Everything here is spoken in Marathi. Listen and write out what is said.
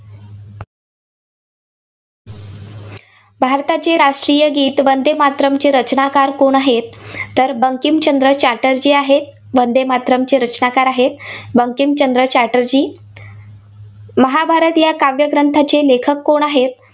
भारताची राष्ट्रीय गीत वंदेमातरमचे रचनाकार कोण आहेत? तर बंकिमचंद्र चटर्जी आहेत, वंदेमातरमचे रचनाकार आहेत, बंकिमचंद्र चटर्जी. महाभारत या काव्यग्रंथाचे लेखक कोण आहेत?